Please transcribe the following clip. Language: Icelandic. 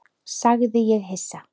sagði ég hissa.